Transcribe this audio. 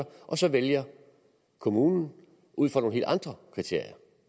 og så vælger kommunen ud fra nogle helt andre kriterier